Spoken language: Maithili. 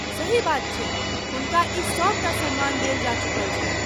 सही बात छै, हुनका ई सभ टा सम्मान देल जा चुकल छन्हि।